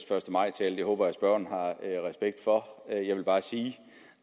første maj tale det håber jeg at spørgeren har respekt for jeg vil bare sige